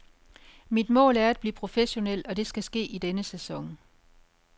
Mit mål er at blive professionel, og det skal ske i denne sæson.